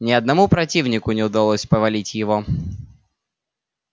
ни одному противнику не удалось повалить его